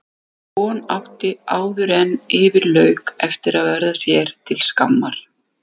Sú von átti áðuren yfir lauk eftir að verða sér til skammar.